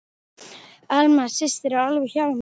Alma systir er alveg hjá mér.